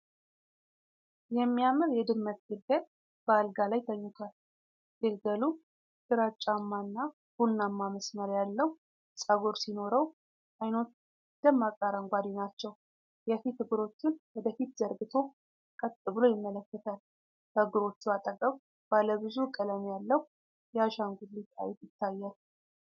የሚያምር የድመት ግልገል በአልጋ ላይ ተኝቷል። ግልገሉ ግራጫማ እና ቡናማ መስመር ያለው ፀጉር ሲኖረው፣ ዓይኖቹ ደማቅ አረንጓዴ ናቸው። የፊት እግሮቹን ወደ ፊት ዘርግቶ ቀጥ ብሎ ይመለከታል። ከእግሮቹ አጠገብ ባለ ብዙ ቀለም ያለው የአሻንጉሊት አይጥ ይታያል።